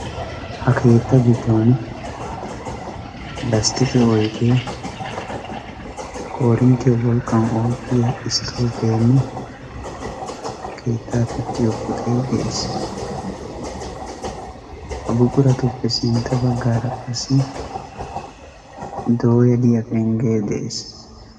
Ha keetta giddon lasttiqe oydde, koorinttiya wolqqan oottiya estoovenne keetta pittiyo puxay de'ees. Ha buquratuppe sintta baggaara qassi dooya diya pengge de'ees.